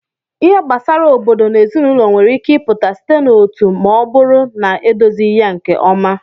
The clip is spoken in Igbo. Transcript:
Ihe gbasara obodo na ezinụlọ nwere ike ịpụta site na otu ma ọ bụrụ na edozighị ya nke ọma.